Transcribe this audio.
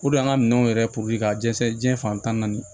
an ka minɛnw yɛrɛ ka dɛsɛ diɲɛ fan tan na ni